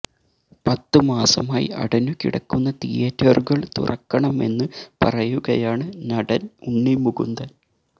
പത്ത് മാസമായി അടഞ്ഞു കിടക്കുന്ന തിയേറ്ററുകള് തുറക്കണമെന്ന് പറയുകയാണ് നടന് ഉണ്ണി മുകുന്ദന്